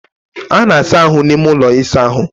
a na-asa ahụ n'ime ulọ ịsa ahụ